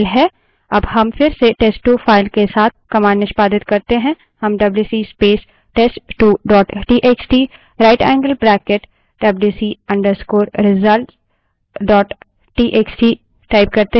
अब हम फिर से test2 file के साथ command निष्पादित करते हैं हम WC space test2 dot TXT right angled bracket WC _ result dot TXT wc space test2 dot txt rightangled bracket wc _ results dot txt type करते हैं